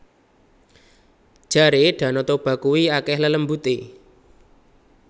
Jare Danau Toba kui akeh lelembute